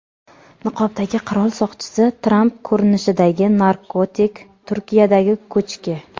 Niqobdagi qirol soqchisi, Tramp ko‘rinishidagi narkotik, Turkiyadagi ko‘chki.